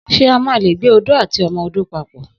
Só mà lé gbé òdó àtíọmọ òdó pàpọ́?